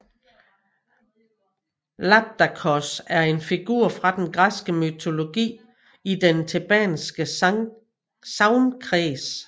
Labdakos er en figur fra den græske mytologi i den thebanske sagnkreds